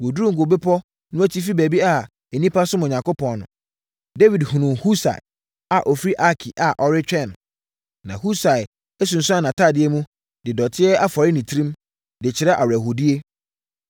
Wɔduruu Ngo Bepɔ no atifi baabi a nnipa som Onyankopɔn no, Dawid hunuu Husai a ɔfiri Arki a ɔretwɛn no. Na Husai asunsuane nʼatadeɛ mu, de dɔteɛ afɔre ne tirim, de kyerɛ awerɛhoɔdie.